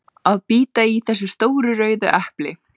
að bíta í þessi stóru rauðu epli.